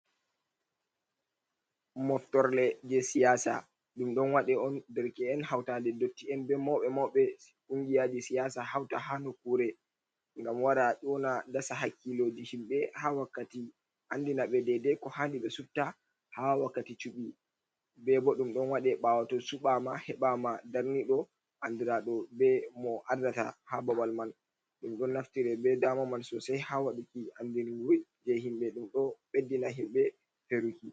Moftorle je siyasa, ɗum ɗon waɗe on derke’en hauta ɗe ndotti en, be mauɓe mauɓe kungiya je siyasa, hauta ha nokure, ngam wara ƴona dasa hakkiloji himɓɓe ha wakkati andina ɓe dede ko handi ɓe sufta ha wakkati cuɓi, ɓe bo ɗum ɗon waɗe ɓawo to suɓama heɓama darniɗo, andira ɗo be mo ardata ha babal man, ɗum ɗon naftire be dama man sosei ha waɗuki andinuwoi je himɓɓe, ɗum ɗo beddina himɓe feruki.